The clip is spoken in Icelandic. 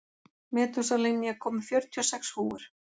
Metúsalem, ég kom með fjörutíu og sex húfur!